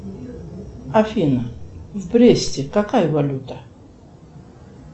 афина в бресте какая валюта